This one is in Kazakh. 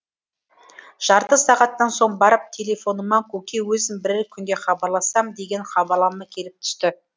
жарты сағаттан соң барып телефоныма көке өзім бірер күнде хабарласам деген хабарлама келіп түсті